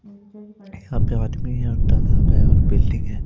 यहां पे आदमी है और तालाब है और बिल्डिंग है।